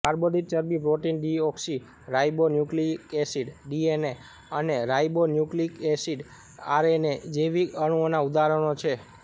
કાર્બોદિત ચરબી protein deoxyribonucleic acid DNA અને ribonucleic acid RNA જૈવિક અણુઓનાં ઉદાહરણો છે